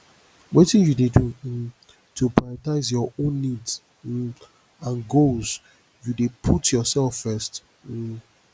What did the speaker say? wetin you dey um do to prioritize your own needs um and goals you dey put yourself first um